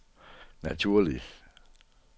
naturlig